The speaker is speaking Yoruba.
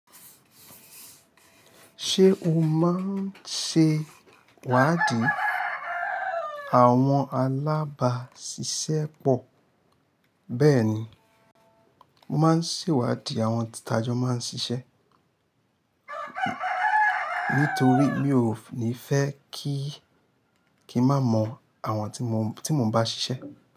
Ṣé o máa ń ṣe ìwádìí àwọn alábàásisẹ́pọ̀? Bẹ́ẹ̀ni, mo máa ń ṣe ìwádìí àwọn tì tajọ́ máa ń ṣiṣẹ́. Nítorí mi ò ní fẹ́ kí kì n má mọ àwọn tí mo n bá ṣiṣẹ́